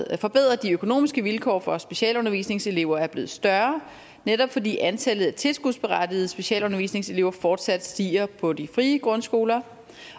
at forbedre de økonomiske vilkår for specialundervisningselever er blevet større netop fordi antallet af tilskudsberettigede specialundervisningselever fortsat stiger på de frie grundskoler